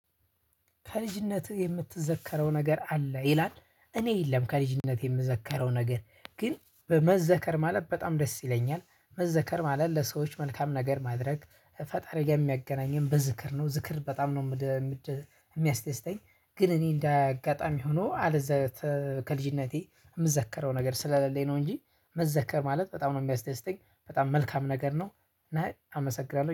ከልጅነትህ የምትዘከረው ነገር አለ? ይላል። እኔ የለም ከልጅነቴ የምዘከረው ነገር። ግን በ መዘከር ማለት በጣም ደስ ይለኛል። መዘከር ማለት ለሰዎች መልካም ነገር ማድረግ ፈጣሪ ጋር የሚያገናኘን በዝክር ነው ዝክር በጣም ነው የሚያስደስተኝ። ግን እኔ እንዳያጋጣም ሆኖ አለዛ ከልጅነቴ የምዘከረው ነገር ስለሌለኝ ነው እንጂ መዘከር ማለት በጣም ነው የሚያስደስተኝ። በጣም መልካም ነገር ነው። እና አመሰግናለሁ።